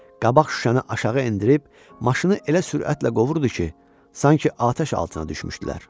Qabaq şüşəni aşağı endirib, maşını elə sürətlə qovurdu ki, sanki atəş altına düşmüşdülər.